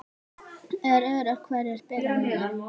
Er öruggt hverjir spila núna?